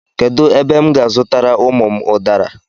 Kedu ebe m ga-azutara ụmụ m udara?